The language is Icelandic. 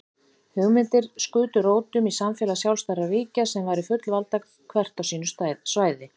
Hugmyndir skutu rótum um samfélag sjálfstæðra ríkja sem væru fullvalda hvert á sínu svæði.